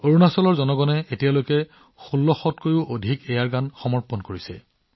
অৰুণাচলৰ মানুহে এতিয়ালৈকে নিজৰ ইচ্ছাৰে ১৬০০তকৈও অধিক এয়াৰগান সমৰ্পণ কৰিছে